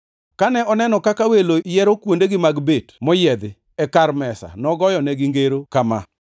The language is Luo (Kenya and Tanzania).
Kane oneno kaka welo yiero kuondegi mag bet moyiedhi, e kar mesa, nogoyonegi ngero kama: